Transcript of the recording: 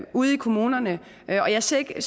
ude i kommunerne og jeg ser ikke